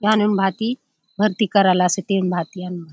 आनुन भांति भर्ती कराला से एहुन भांति